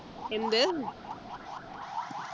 എന്ത്